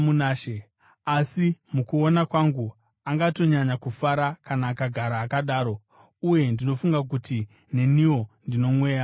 Asi mukuona kwangu, angatonyanya kufara kana akagara akadaro, uye ndinofunga kuti neniwo ndino Mweya waMwari.